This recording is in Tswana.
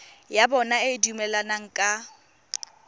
ya bona e dumelaneng ka